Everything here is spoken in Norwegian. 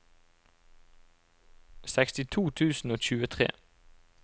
sekstito tusen og tjuetre